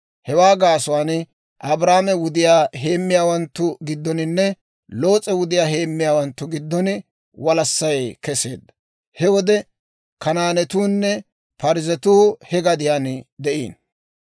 Hewaa gaasuwaan Abraamo wudiyaa heemmiyaawanttu giddoninne Loos'e wudiyaa heemmiyaawanttu giddon walassay kesseedda. He wode Kanaanatuunne Parzzetuu he gadiyaan de'ino.